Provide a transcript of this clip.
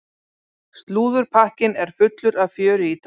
Slúðurpakkinn er fullur af fjöri í dag.